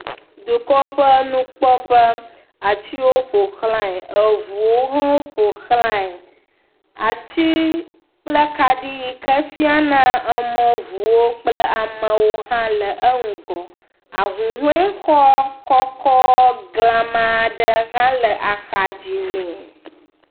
Dukɔƒenukpɔƒe, atiwo ƒo xlẽa, eŋuwo hã ƒo xlẽa. Ati kple akaɖi yike fiana emɔ ŋuwo kple amewo hã le eŋgɔ. Ahuhɔe xɔ kɔkɔ glama ɖe hã le axa dzi ne.